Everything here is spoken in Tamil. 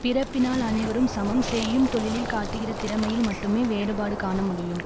பிறப்பினால் அனைவரும் சமம் செய்யும் தொழிலில் காட்டுகிற திறமையில் மட்டுமே வேறுபாடு காண முடியும்